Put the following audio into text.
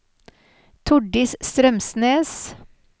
Tordis Strømsnes